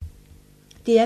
DR P3